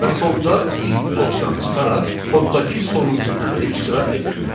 Və sonda if blokdan çıxaraq koddakı sonuncu əmri icra edir.